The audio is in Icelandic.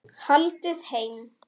Haldið heim